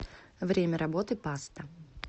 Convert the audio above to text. время работы паста